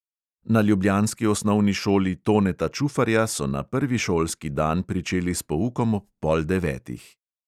Na ljubljanski osnovni šoli toneta čufarja so na prvi šolski dan pričeli s poukom ob pol devetih.